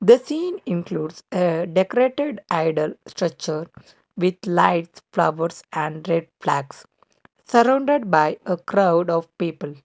the scene includes a decorated idol structure with lights flowers and red flags surrounded by a crowd of people.